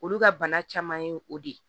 Olu ka bana caman ye o de ye